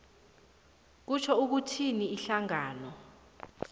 kutjho ukuthi ihlangano